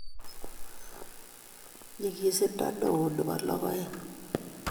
Nyigisindo ne oo ne bo logoekn